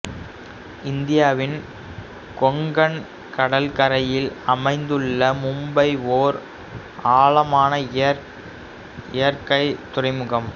இந்தியாவின் கொங்கண் கடற்கரையில் அமைந்துள்ள மும்பை ஓர் ஆழமான இயற்கை துறைமுகம்